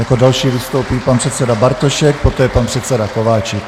Jako další vystoupí pan předseda Bartošek, poté pan předseda Kováčik.